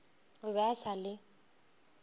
o be a sa le